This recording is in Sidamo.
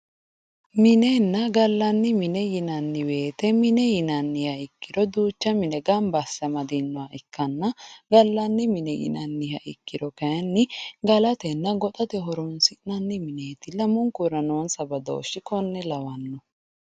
Minenna gallanni mine yinanni woyiite mine yinanniha ikkiro duucha mine gamba asse amadinoha ikkanna gallanni mine yinanniha ikkiro kayeenni galatenna goxate horonsi'nanniha lamunkaur noonsa badooshshi konne ikkanno